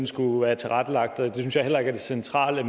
skulle ud af sjælsmark